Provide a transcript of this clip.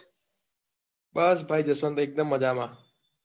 બસ ભાઈ જસવંત એકદમ મજામાં